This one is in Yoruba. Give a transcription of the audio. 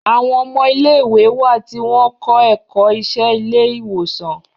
Àwọn ọmọ ilé ìwé wá tí wón kọ ẹkọ Iṣé ilé ìwòsàn